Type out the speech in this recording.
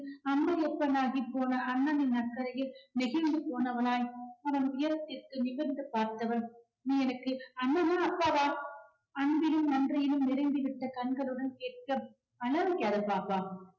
அம்மையப்பன் ஆகிப்போன அண்ணனின் அக்கரையில் நெகிழ்ந்து போனவளாய் அவன் உயரத்திற்கு நிமிர்ந்து பார்த்தவள் நீ எனக்கு அண்ணனா அப்பாவா அன்பிலும் நன்றியிலும் நிரம்பிவிட்ட கண்களுடன் கேட்க பாப்பா